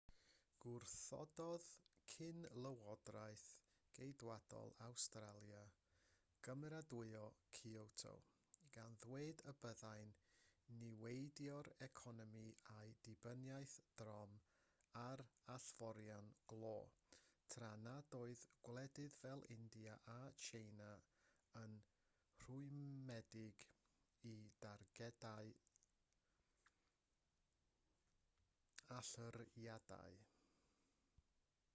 gwrthododd cyn-lywodraeth geidwadol awstralia gymeradwyo kyoto gan ddweud y byddai'n niweidio'r economi a'i dibyniaeth drom ar allforion glo tra nad oedd gwledydd fel india a tsieina yn rhwymedig i dargedau allyriadau